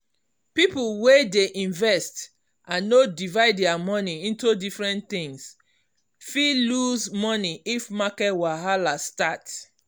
people wey dey invest and no divide their money into different things fit lose money if market wahala start.